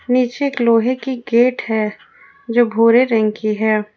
नीचे एक लोहे की गेट है जो भूरे रंग की है।